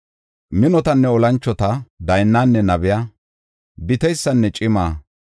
Minotanne olanchota, daynnanne nabiya, biteysanne cima,